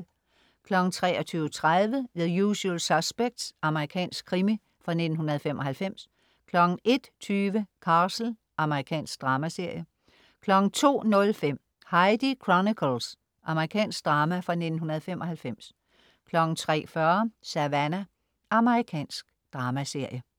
23.30 The Usual Suspects. Amerikansk krimi fra 1995 01.20 Castle. Amerikansk dramaserie 02.05 Heidi Chronicles. Amerikansk drama fra 1995 03.40 Savannah. Amerikansk dramaserie